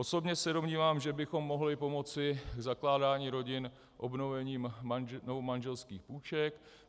Osobně se domnívám, že bychom mohli pomoci zakládání rodin obnovením novomanželských půjček.